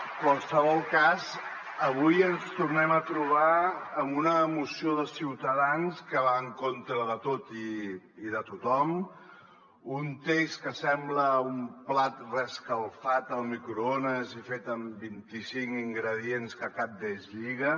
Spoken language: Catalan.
en qualsevol cas avui ens tornem a trobar amb una moció de ciutadans que va en contra de tot i de tothom un text que sembla un plat reescalfat al microones i fet amb vint i cinc ingredients que cap d’ells lliga